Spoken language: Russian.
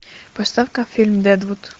поставь ка фильм дэдвуд